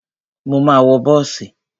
Mo ma wọ bọ́ọ̀sì.